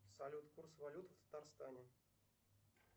салют курс валют в татарстане